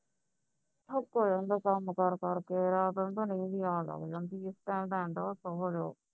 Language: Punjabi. ਥੱਕ ਜਾਂਦਾ ਕੰਮ ਕਾਰ ਕਰਕੇ ਆਣ ਰਾਤ ਨੂੰ ਤਾਂ ਨੀਂਦ ਹੀ ਆਣ ਲਁਗ ਜਾਂਦੀ ਹੈ ਤੇ ਸੋਵੋ